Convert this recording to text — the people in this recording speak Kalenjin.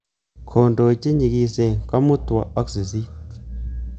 Kondoi chenyigisen kamutwo ak sisit